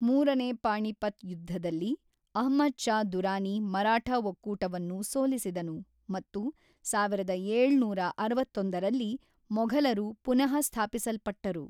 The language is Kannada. ಮೂರನೇ ಪಾಣಿಪತ್ ಯುದ್ಧದಲ್ಲಿ ಅಹ್ಮದ್ ಷಾ ದುರಾನಿ ಮರಾಠ ಒಕ್ಕೂಟವನ್ನು ಸೋಲಿಸಿದನು ಮತ್ತು ಸಾವಿರದ ಏಳುನೂರ ಅರವತ್ತೊಂದರಲ್ಲಿ ಮೊಘಲರು ಪುನಃಸ್ಥಾಪಿಸಲ್ಪಟ್ಟರು.